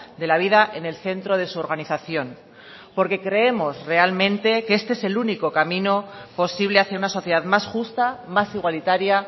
de la vida en el centro de su organización porque creemos realmente que este es el único camino posible hacia una sociedad más justa más igualitaria